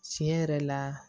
Tiɲɛ yɛrɛ la